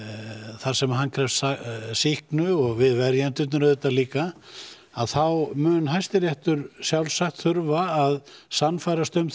þar sem hann krefst sýknu og við verjendurnir líka þá mun Hæstiréttur sjálfsagt þurfa að sannfærast um